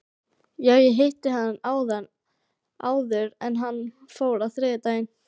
Já, ég hitti hann áður en hann fór á þriðjudaginn.